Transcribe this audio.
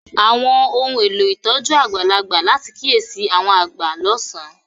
Àwọn ohun elo ìtójú àgbàlagbà láti kiyesi àwọn agba lọsan.